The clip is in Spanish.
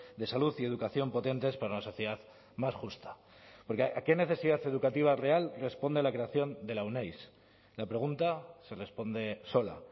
de salud y educación potentes para una sociedad más justa porque a qué necesidad educativa real responde a la creación de la euneiz la pregunta se responde sola